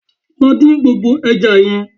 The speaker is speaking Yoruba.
Lọ dín gbogbo ẹja yẹn